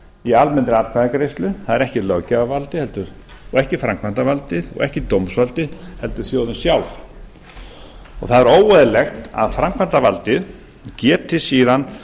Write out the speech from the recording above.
í almennri atkvæðagreiðslu það er ekki löggjafarvaldið og ekki framkvæmdarvaldið og ekki dómsvaldið heldur þjóðin sjálf það er óeðlilegt að framkvæmdarvaldið geti síðan